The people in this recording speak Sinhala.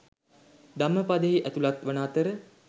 ධම්මපදයෙහි ඇතුළත් වන අතර